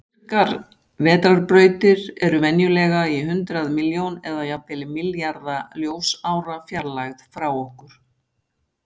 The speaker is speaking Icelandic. Virkar vetrarbrautir eru venjulega í hundrað milljón eða jafnvel milljarða ljósára fjarlægð frá okkur.